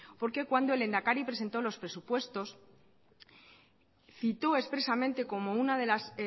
porque cuando el lehendakari presentó los presupuestos citó expresamente como una de las